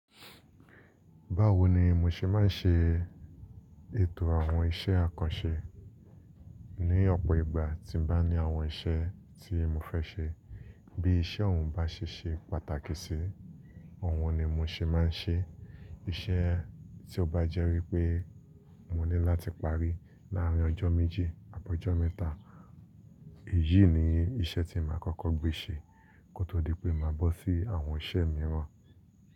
Báwo ní mọ ṣe máa ṣe ètò àwọn iṣẹ́ àkànṣe? Ní ọ̀pọ̀ ìgbà tí mo bá ní àwọn iṣẹ́ tí mo fẹ́ ṣe, bí iṣẹ́ ọ̀hún bá ṣe ṣe pàtàkì sí, ọ̀hún ni mo ṣe máa ṣe. Iṣẹ́ tí ó bá jẹ́ wí pé mo ní láti parí láàárín ọjọ́ méjì, àbọ̀ ọjọ́ mẹ́ta, èyí ni iṣẹ́ tí màá kókó gbé ṣe kó tó di pé màá bọ́ sí àwọn iṣẹ́ mìíràn.